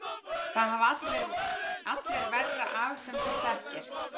Það hafa allir verra af sem þú þekkir!